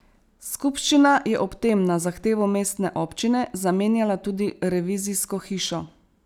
Skupščina je ob tem na zahtevo mestne občine zamenjala tudi revizijsko hišo.